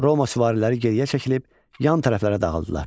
Roma süvariləri geriyə çəkilib yan tərəflərə dağıldılar.